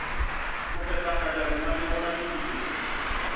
go phethagatša lenaneo la mediro